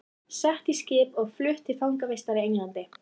Sett í skip og flutt til fangavistar í Englandi!